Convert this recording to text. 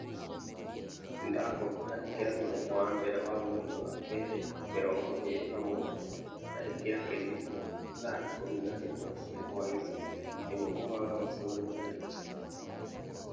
Nĩndakũhoya ĩkira mũthenya wa mbere wa mweri wa kerĩ mĩrongo ĩĩrĩ na mũgwanja na ĩkira kĩririkano thaa ikũmi na ĩmwe cia hwaĩinĩ nĩguo kũbanga mũcemanio na Richard